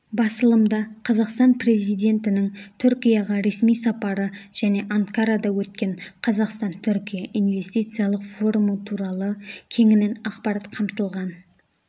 басылымда қазақстан президентінің түркияға ресми сапары және анкарада өткен қазақстан-түркия инвестициялық форумы туралы кеңінен ақпарат қамтылған